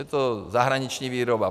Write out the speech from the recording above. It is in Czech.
Je to zahraniční výroba.